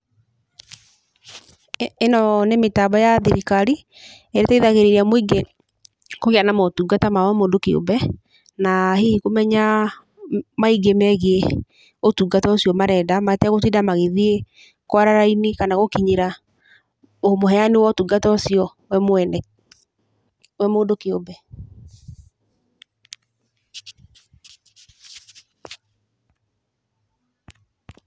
Ĩno nĩ mĩtambo ya thirikari ĩrĩa ĩteithagĩrĩria mũingĩ kũgĩa na motungata ma o mũndũ kĩũmbe, na hihi kũmenya maingi megiĩ ũtungata ũcio marenda mategũtinda magĩthiĩ kwara raini kana gũkinyĩra ũheani wa ũtungata ũcio we mwene, o mũndũ kĩũmbe.